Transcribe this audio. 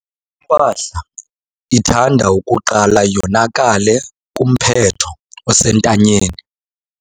Impahla ithanda ukuqala yonakale kumphetho osentanyeni.